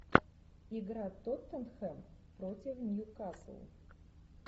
игра тоттенхэм против ньюкасл